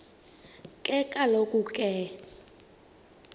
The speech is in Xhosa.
ke kaloku ke